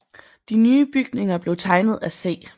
De nye bygninger blev tegnet af C